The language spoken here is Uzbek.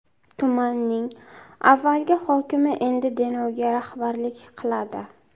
Tumanning avvalgi hokimi endi Denovga rahbarlik qiladi.